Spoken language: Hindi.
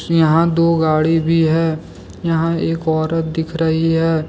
यहां दो गाड़ी भी है यहां एक औरत दिख रही है।